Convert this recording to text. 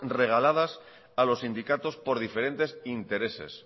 regaladas a los sindicatos por diferentes intereses